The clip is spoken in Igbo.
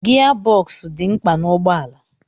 Gia bọksụ dị mkpa n'ụgbọala.